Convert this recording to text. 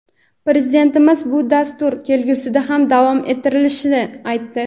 Prezidentimiz bu dastur kelgusida ham davom ettirilishini aytdi.